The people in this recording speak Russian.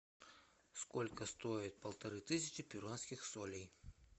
сколько стоит полторы тысячи перуанских солей